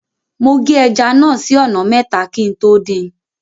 Mo gé ẹja náà sí ọ̀nà mẹ́ta kí n tó dín in.